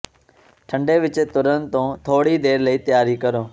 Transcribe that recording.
ਠੰਡੇ ਵਿਚ ਤੁਰਨ ਤੋਂ ਥੋੜ੍ਹੀ ਦੇਰ ਲਈ ਤਿਆਰੀ ਕਰੋ